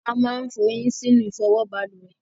A máa ń fọyín sínú ìfọwọ́ balùwè.